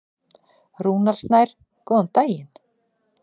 Rúnar Snær: Góðan daginn.